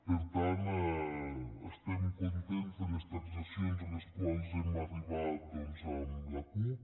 per tant estem contents de les transaccions a les quals hem arribat doncs amb la cup